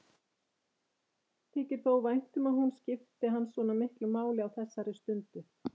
Þykir þó vænt um að hún skipti hann svona miklu máli á þessari stundu.